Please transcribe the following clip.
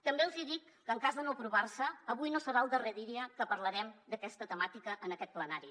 també els hi dic que en cas de no aprovar se avui no serà el darrer dia que parlarem d’aquesta temàtica en aquest plenari